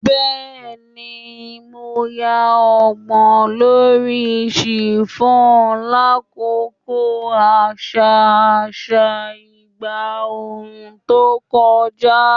Bẹẹni, Mo yan ọgbọ lori chiffon lakoko aṣa aṣa igba ooru to kọja